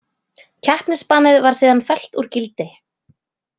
Keppnisbannið var síðan fellt úr gildi